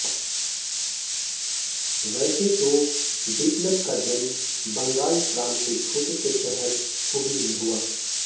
वैसे तो बिप्लब का जन्म बंगाल प्रांत के छोटे से शहर हुगली में हुआ